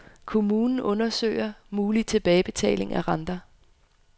Kommune undersøger mulig tilbagebetaling af renter.